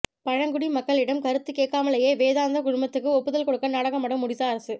பழங்குடி மக்களிடம் கருத்து கேட்காமலேயே வேதாந்தா குழுமத்துக்கு ஒப்புதல் கொடுக்க நாடகமாடும் ஒடிஷா அரசு